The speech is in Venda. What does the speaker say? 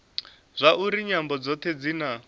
zwauri nyambo dzothe dzi na